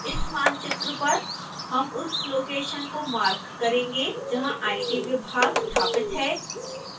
इस मानचित्र पर हम उस लोकेशन को मार्क करेंगे जहां आईटी विभाग स्थापित हैं